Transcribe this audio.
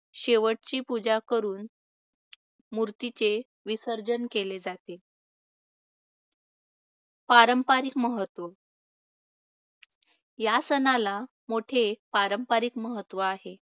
शेवटची पूजा करून मूर्तीचे विसर्जन केले जाते. पारंपरिक महत्त्व या सणाला मोठे पारंपारिक महत्त्व आहे.